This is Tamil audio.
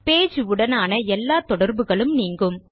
பேஜ் உடனான எல்லா தொடர்புகளும் நீங்கும்